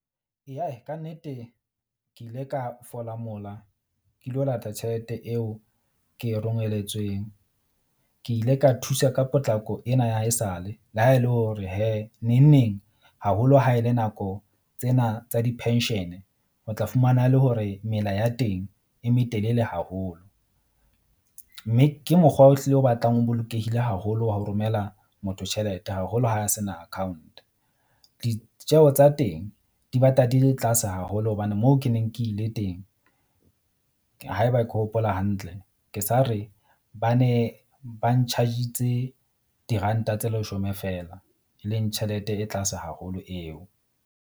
Eya, kannete, ke ile ka fola mola ke lo lata tjhelete eo ke e rongeletsweng. Ke ile ka thusa ka potlako ena ya haesale le ha e le hore hee neng neng haholo ha e le nako tsena tsa di-pension-e. O tla fumana le hore mela ya teng e metelele haholo. Mme ke mokgwa o hlile o batlang o bolokehile haholo wa ho romela motho tjhelete, haholo ha sena account. Ditjeho tsa teng di batla di le tlase haholo hobane moo ke neng ke ile teng. Haeba ke hopola hantle ke sa re ba ne ba nchargitse diranta tse leshome feela e leng tjhelete e tlase haholo eo.